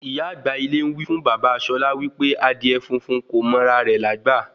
Ìyá àgbà ilé ń wí fún bàbá Ṣọlá wí pé Adìẹ funfun kò mọ ra re lágbà